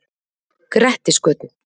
Grettisgötu